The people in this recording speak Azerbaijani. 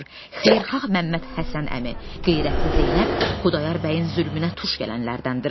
Xeyirxah Məhəmməd Həsən əmi, qeyrətli Zeynəb Xudayar bəyin zülmünə tuş gələnlərdəndir.